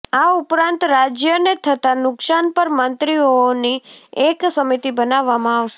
આ ઉપરાંત રાજ્યને થતા નુકશાન પર મંત્રીઓઓની એક સમિતિ બનાવવામાં આવશે